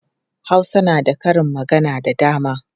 Hausa na da karin magana da dama.